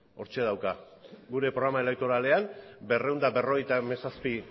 hortxe dauka gure programa elektoralean berrehun eta berrogeita hamazazpi